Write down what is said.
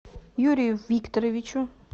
юрию викторовичу